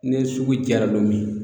Ni sugu jara lo min